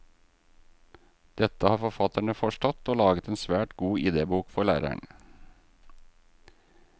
Dette har forfatterne forstått, og laget en svært god idébok for læreren.